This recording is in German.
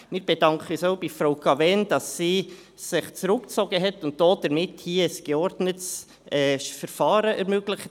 Wir bedanken uns auch bei Frau Cavegn, dass sie sich zurückgezogen hat und damit hier ein geordnetes Verfahren ermöglicht.